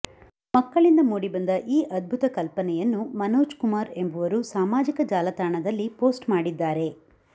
ಮಕ್ಕಳಿಂದ ಮೂಡಿಬಂದ ಈ ಅದ್ಭುತ ಕಲ್ಪನೆಯನ್ನು ಮನೋಜ್ ಕುಮಾರ್ ಎಂಬುವರು ಸಾಮಾಜಿಕ ಜಾಲತಾಣದಲ್ಲಿ ಪೋಸ್ಟ್ ಮಾಡಿದ್ದಾರೆ